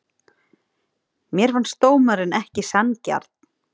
Mér fannst dómarinn ekki sanngjarn.